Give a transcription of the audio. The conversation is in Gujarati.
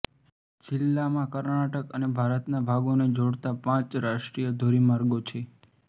જિલ્લામાં કર્ણાટક અને ભારતના ભાગોને જોડતા પાંચ રાષ્ટ્રીય ધોરીમાર્ગો છે